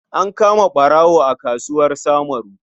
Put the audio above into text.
An kama ɓarawo a kasuwar Samuru.